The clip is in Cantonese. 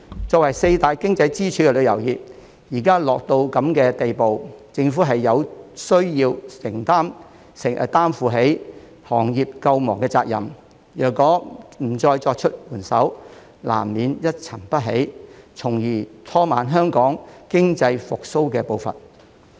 作為四大經濟支柱的旅遊業，現在卻落得如此地步，政府有需要擔負起行業救亡的責任，如果不再伸出援手，難免一沉不起，從而拖慢香港經濟復蘇的步伐。